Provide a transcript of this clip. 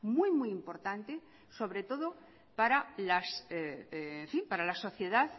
muy importante sobre todo para la sociedad